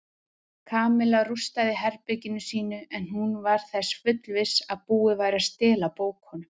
Kamilla rústaði herberginu sínu en hún var þess fullviss að búið væri að stela bókunum.